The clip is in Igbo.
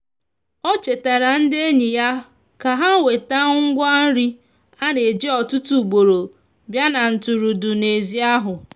o chetara ndi enyi ya ka ha weta ngwa nri ana eji ọtụtụ ugboro bia na ntụrụndụ n'ezi ahụ.